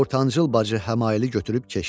Ortancıl bacı həmaili götürüb keçdi.